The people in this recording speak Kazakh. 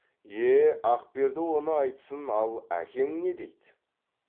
е е ақперді оны айтсын ал әкең не дейді